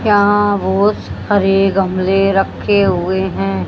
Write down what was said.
यहां बहोत सारे गमले रखे हुए हैं।